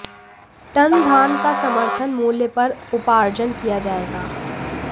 ton धान का समर्थन मूल्य पर उपार्जन किया गया